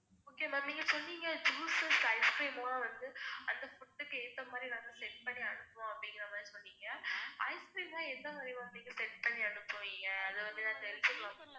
okay ma'am நீங்க சொன்னீங்க juices ice cream லாம் வந்து அந்த food க்கு ஏத்த மாதிரி நாங்க set பண்ணி அனுப்புவோம் அப்டிங்குறமாதிரி சொன்னிங்க ice cream லாம் எந்தமாதிரி ma'am நீங்க set பண்ணி அனுப்புவீங்க. அத வந்து நான் தெரிஞ்சிக்கலாமா